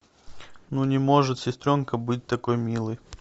ну не может сестренка быть такой милой